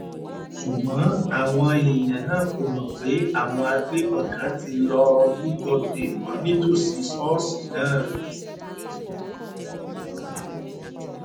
ṣùgbọ́n àwọn èèyàn náà kò mọ̀ pé àwọn agbébọn kan ti lọ́ọ́ lúgọ dè wọ́n nítòsí ṣọ́ọ̀ṣì náà